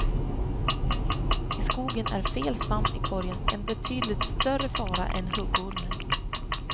I skogen är fel svamp i korgen en betydligt större fara än huggormen.